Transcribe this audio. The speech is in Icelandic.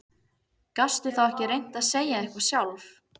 Gastu þá ekki reynt að segja eitthvað sjálf?